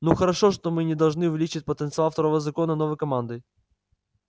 ну хорошо мы не можем увеличить потенциал второго закона новой командой